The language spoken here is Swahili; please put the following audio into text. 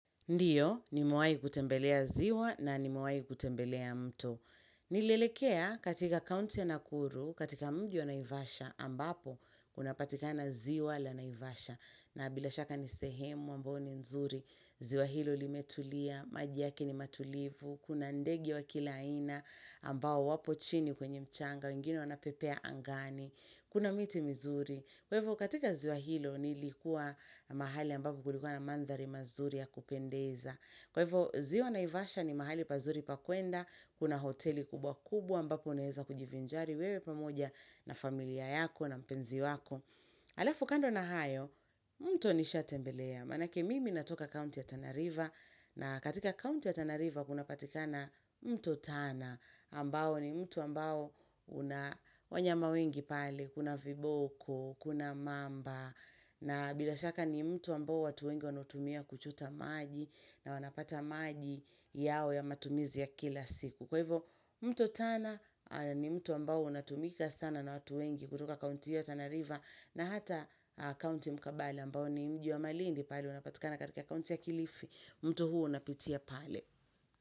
Ndiyo, ni mwaii kutembelea ziwa na ni mwaii kutembelea mto. Ni lelekea katika kaunti ya nakuru, katika mji wa naivasha, ambapo kuna patika na ziwa la naivasha. Na bila shaka ni sehemu ambao ni nzuri, ziwa hilo li metulia, maji yaki ni matulivu, kuna ndege wa kilaina ambao wapo chini kwenye mchanga, wengine wanapepea angani, kuna miti mzuri. Kwevo katika ziwa hilo ni likuwa mahali ambapo kulikuwa na mandhari mazuri ya kupendeza. Kwevo ziwa naivasha ni mahali pazuri pakwenda, kuna hoteli kubwa kubwa ambapo uneeza kujivinjari, wewe pamoja na familia yako na mpenzi wako. Alafu kando na hayo, mto nisha tembelea. Manake mimi natoka county ya Tanariva, na katika county ya Tanariva kuna katika na mto tana. Ambao ni mtu ambao unawanyama wengi pale, kuna viboko, kuna mamba na bilashaka ni mto ambao watu wengi wanutumia kuchota maji na wanapata maji yao ya matumizi ya kila siku kwa hivyo mtu tana ni mtu ambao unatumika sana na watu wengi kutoka kaunti ya tanariva na hata kaunti mkabale ambao ni mji wa malindi pale unapatikana katika kaunti ya kilifi, mtu huo unapitia pale.